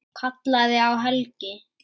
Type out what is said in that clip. Kallaði á Helgu.